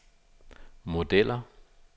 modeller